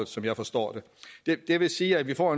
som jeg forstår det det vil sige at vi får